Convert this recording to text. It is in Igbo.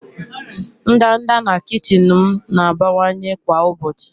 ndanda na kichin m na-abawanye kwa ụbọchị.